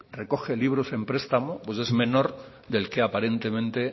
recoge libros en prestamo es menor del que aparentemente